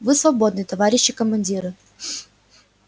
вы свободны товарищи командиры